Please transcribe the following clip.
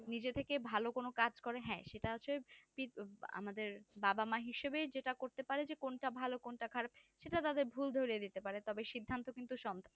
নিজে থেকে ভালো কোনো কাজ করে হ্যাঁ সেটা হচ্ছে কি আমাদের বাবা মা হিসাবে যেটা করতে পারে কোনটা ভালো কোনটা খারাপ সেটা তাদের ভুল ধরিয়ে দিতে পারে তবে সির্ধান্ত কিন্তু সন্তান